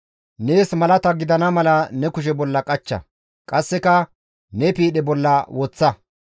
Nees malata gidana mala ne kushe bolla qachcha qasseka ne piidhe bolla woththa.